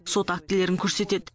сот актілерін көрсетеді